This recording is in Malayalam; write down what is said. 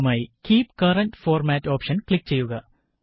അവസാനമായി keep current format option click ചെയ്യുക